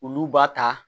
Olu b'a ta